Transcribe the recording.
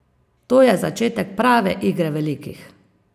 To je začetek prave igre velikih!